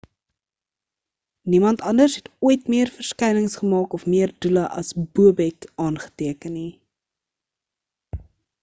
niemand anders het ooit meer verskynings gemaak of meer doele as bobek aangeteken nie